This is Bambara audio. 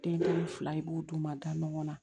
Den kelen fila i b'o d'u ma da ɲɔgɔn na